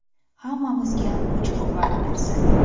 Hammamizga kuch-quvvat bersin!